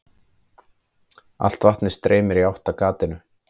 Allt vatnið streymir í átt að gatinu.